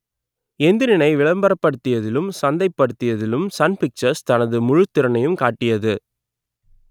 எந்திரனை விளம்பரப்படுத்தியதிலும் சந்தைப்படுத்தியதிலும் Sun Pictures தனது முழுத்திறனையும் காட்டியது